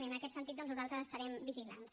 i en aquest sentit doncs nosaltres estarem vigilants